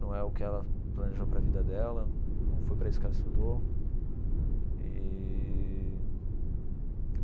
Não é o que ela planejou para a vida dela, não foi para isso que ela estudou eee.